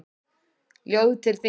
Ljóð til þín.